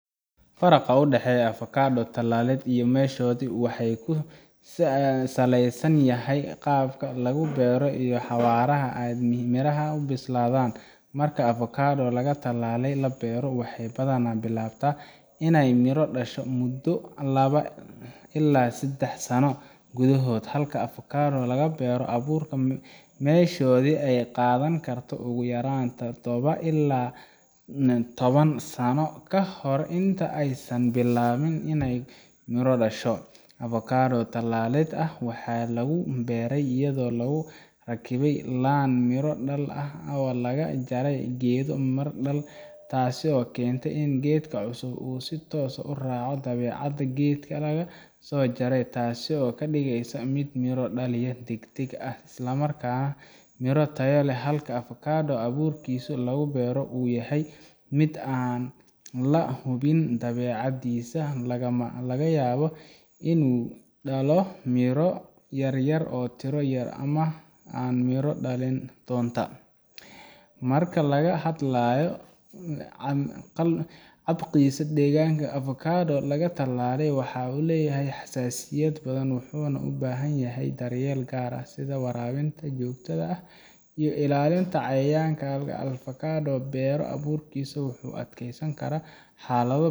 Faraqa u dhexeeya avocado tallaalid iyo meshoodii waxa uu ku saleysan yahay qaabka lagu beero iyo xawaaraha ay midhaha u bislaadaan marka avocado laga tallaalay la beero waxay badanaa bilaabataa inay miro dhasho muddo laba ilaa saddex sano gudahood halka avocado laga beero abuurka meshoodii ay qaadan karto ugu yaraan toddoba ilaa toban sano ka hor inta aysan bilaabin inay miro dhasho avocado tallaalid ah waxaa lagu beeray iyadoo lagu rakibay laan miro dhal ah oo laga jaray geed miro dhal ah taas oo keenta in geedka cusubi uu si toos ah u raaco dabeecadda geedkii laga soo jaray taasoo ka dhigaysa mid miro dhaliya degdeg ah isla markaana miro tayo leh halka avocado abuurkiisa laga beero uu yahay mid aan la hubin dabeecaddiisa lagana yaabo inuu dhalo miro yaryar tiro yar ama aan miro dhalin toona marka laga hadlayo la qabsiga deegaanka avocado laga tallaalay waxaa uu leeyahay xasaasiyad badan wuxuuna u baahan yahay daryeel gaar ah sida waraabinta joogtada ah iyo ilaalinta cayayaanka halka avocado laga beero abuurkiisa uu u adkaysan karo xaalado .